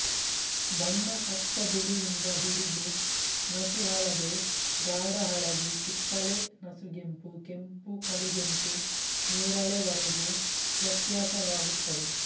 ಬಣ್ಣ ಅಚ್ಚ ಬಿಳಿಯಿಂದ ಹಿಡಿದು ನಸುಹಳದೆ ಗಾಢ ಹಳದಿ ಕಿತ್ತಳೆ ನಸುಗೆಂಪು ಕೆಂಪು ಕಡುಗೆಂಪು ನೇರಳೆವರೆಗೂ ವ್ಯತ್ಯಾಸವಾಗುತ್ತದೆ